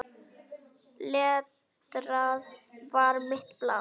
Letrað var mitt blað.